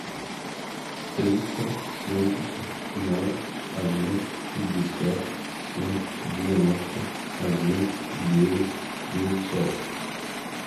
триста семьдесят ноль один пятьдесят семь девяносто один девять девятьсот